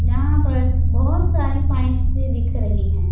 जहां पर बहोत सारी पाईप्स भी दिख रही हैं।